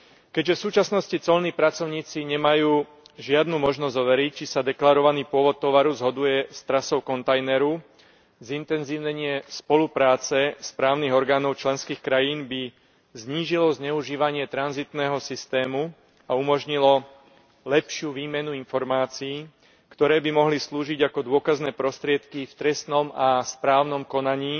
Keďže v súčasnosti colní pracovníci nemajú žiadnu možnosť overiť, či sa deklarovaný pôvod tovaru zhoduje s trasou kontajneru, zintenzívnenie spolupráce správnych orgánov členských krajín by znížilo zneužívanie tranzitného systému a umožnilo lepšiu výmenu informácií, ktoré by mohli slúžiť ako dôkazné prostriedky v trestnom a správnom konaní